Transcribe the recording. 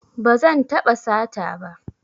Ba zan taɓa sata ba